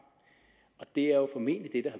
det er formentlig det